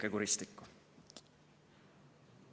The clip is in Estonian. Õieke kuristikku.